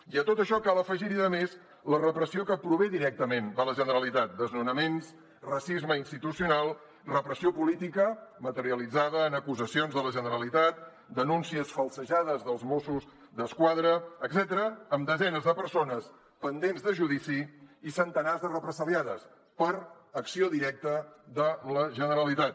i a tot això cal afegir hi a més la repressió que prové directament de la generalitat desnonaments racisme institucional repressió política materialitzada en acusacions de la generalitat denúncies falsejades dels mossos d’esquadra etcètera amb desenes de persones pendents de judici i centenars de represaliades per acció directa de la generalitat